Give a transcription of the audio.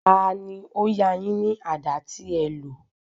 Tani ó yá a yín ní àdá tí ẹ lò?